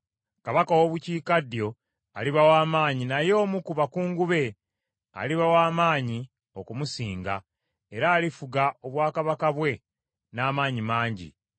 “Kabaka ow’obukiikaddyo aliba w’amaanyi, naye omu ku bakungu be aliba w’amaanyi okumusinga era alifuga obwakabaka bwe n’amaanyi mangi.